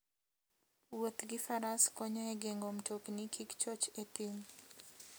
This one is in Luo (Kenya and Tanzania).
Wuoth gi faras konyo e geng'o mtokni kik choch e thim.